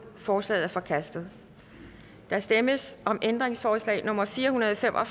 forslaget er forkastet der stemmes om ændringsforslag nummer fire hundrede og fem og